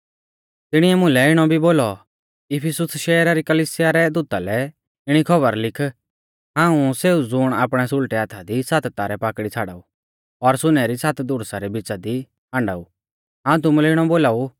तिणीऐ मुलै इणौ भी बोलौ इफिसुस शैहरा री कलिसिया रै दूता लै इणी खौबर लिख हाऊं ऊ सेऊ ज़ुण आपणै सुल़टै हाथा दी सात तारै पाकड़ी छ़ाड़ाऊ और सुनै री साता धूड़ुसा रै बिच़ा दी हांडा ऊ हाऊं तुमुलै इणौ बोलाऊ